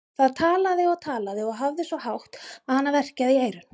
Það talaði og talaði og hafði svo hátt að hana verkjaði í eyrun.